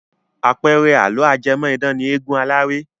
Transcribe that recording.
Àpẹẹrẹ àlọ́ ajẹ́mọ̀-idán ni eégun aláré.